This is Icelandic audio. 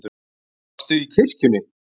Varstu í kirkjunni?